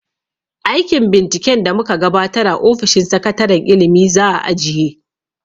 Aikin binciken da mu ka gabatar a ofishin sakataren ilimi za a ajiye.